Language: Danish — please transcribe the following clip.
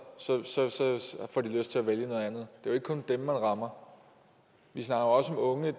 får de lyst til at vælge noget andet det jo ikke kun dem man rammer vi snakker også om unge